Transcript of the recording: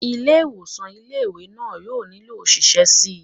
Ilé ìwòsàn ilé ìwé náà yóò nílò òṣìṣẹ́ síi